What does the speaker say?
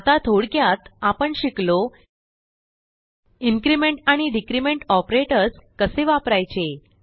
आता थोडक्यात आपण शिकलो इन्क्रिमेंट आणि डिक्रिमेंट ऑपरेटर्स कसे वापरायचे